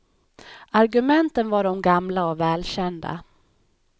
Argumenten var de gamla och välkända.